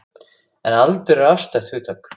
En aldur er afstætt hugtak.